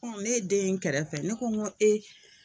Ɔn ne ye den ye n kɛrɛfɛ , ne ko n go e!